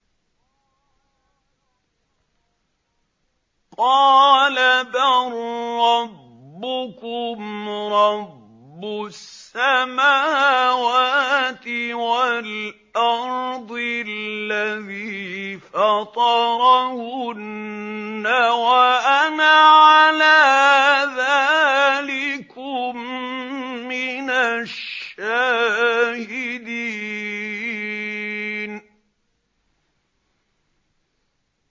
قَالَ بَل رَّبُّكُمْ رَبُّ السَّمَاوَاتِ وَالْأَرْضِ الَّذِي فَطَرَهُنَّ وَأَنَا عَلَىٰ ذَٰلِكُم مِّنَ الشَّاهِدِينَ